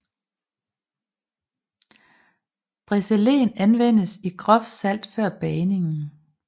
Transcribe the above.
Brezelen vendes i groft salt før bagningen